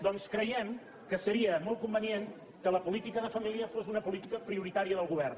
doncs creiem que se·ria molt convenient que la política de família fos una po·lítica prioritària del govern